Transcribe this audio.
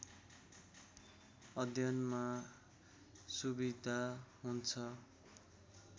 अध्ययनमा सुविधा हुन्छं।